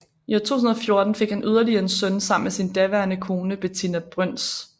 I 2014 fik han yderligere en søn sammen med sin daværende kone Betinna Brøns